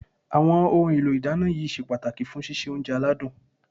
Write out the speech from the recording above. Àwọn ohun èlò ìdáná yìí ṣe pàtàkì fún síse oúnjẹ aládùn